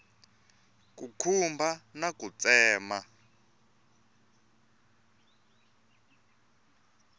ku khumba na ku tsema